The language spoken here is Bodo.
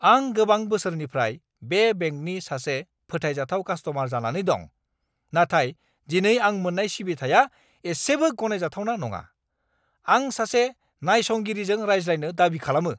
आं गोबां बोसोरनिफ्राय बे बेंकनि सासे फोथायजाथाव कास्टमार जानानै दं, नाथाय दिनै आं मोन्नाय सिबिथाया एसेबो गनायजाथावना नङा। आं सासे नायसंगिरिजों रायज्लायनो दाबि खालामो।